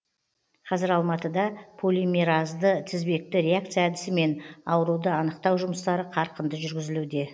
қазір алматыда полимеразды тізбекті реакция әдісімен ауруды анықтау жұмыстары қарқынды жүргізілуде